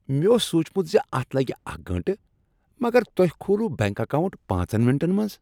مےٚ اوس سوٗنٛچمت ز اتھ لگِہ اکھ گٲنٛٹہٕ مگر تۄہہ کھول وٕ بینک اکاونٹ پانژن منٹن منٛز۔